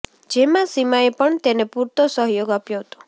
જેમાં સીમાએ પણ તેને પુરતો સહયોગ આપ્યો હતો